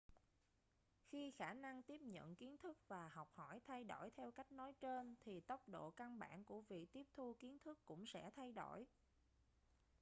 khi khả năng tiếp nhận kiến thức và học hỏi thay đổi theo cách nói trên thì tốc độ căn bản của việc tiếp thu kiến thức cũng sẽ thay đổi